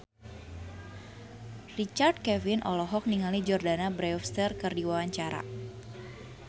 Richard Kevin olohok ningali Jordana Brewster keur diwawancara